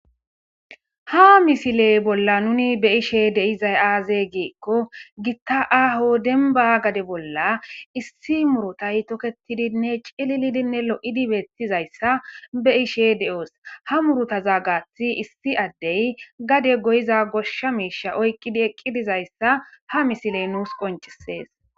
Ha misiley bolla nuni be ishe deizay aaze giikko gitta aho denba gade bolla issi murotay toketidinne cilililinne lo'idibeettizayssa be ishe de'oos ha murutazaa gaathi issi addey gade goyiza goshsha miisha oykkidi eqqidizayssa ha misiley nuus qoncisees.